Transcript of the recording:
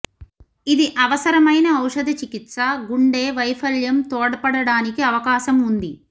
ఇది అవసరమైన ఔషధ చికిత్స గుండె వైఫల్యం తోడ్పడటానికి అవకాశం ఉంది